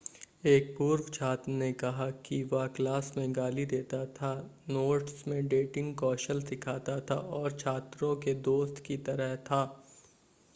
एक पूर्व छात्र ने कहा कि वह क्लास में गाली देता था नोट्स में डेटिंग कौशल सिखाता था और छात्रों के दोस्त की तरह था